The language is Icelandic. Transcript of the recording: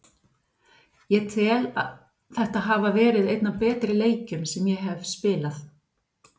Ég tel þetta hafa verið einn af betri leikjum sem ég hef spilað.